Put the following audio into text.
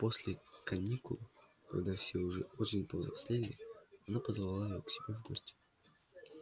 а после каникул когда все уже очень повзрослели она позвала его к себе в гости